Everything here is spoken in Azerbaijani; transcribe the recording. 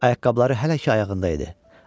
Ayaqqabıları hələ ki ayağında idi.